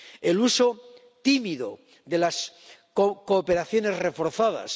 el uso tímido de las cooperaciones reforzadas